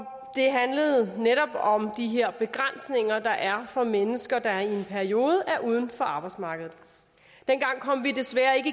handlede netop om de her begrænsninger der er for mennesker der i en periode er uden for arbejdsmarkedet dengang kom vi desværre ikke